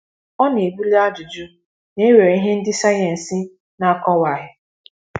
Ọ na-ebuli ajụjụ na e nwere ihe ndị sayensị na-akọwaghị.